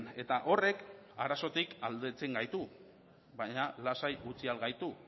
eta horrek arazotik aldentzen gaitu baina lasai gutxi al gaitu